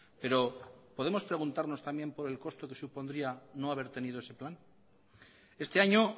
pero podemos preguntarnos también por el coste que supondría no haber tenido ese plan este año